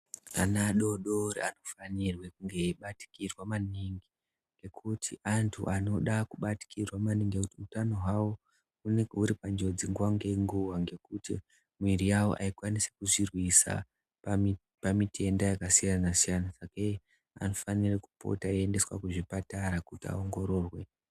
Ana adodori anofanirwe kuve eibatikirwa maningi ngekuti antu anoda kubatikirwa maningi ngekuti utano hwawo unenge huri panjodzi nguwa ngenguwa ngekuti mwiri yawo aikwanisi kuzvirwisa pamitenda yakasiyana siyana sakei anofanire kupota eiendeswe kuzvipatara kuti aongororwe.